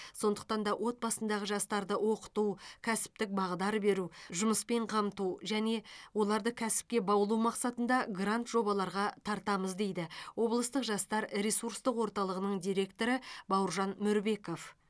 сондықтан да отбасындағы жастарды оқыту кәсіптік бағдар беру жұмыспен қамту және оларды кәсіпке баулу мақсатында грант жобаларға тартамыз дейді облыстық жастар ресурстық орталығының директоры бауыржан мөрбеков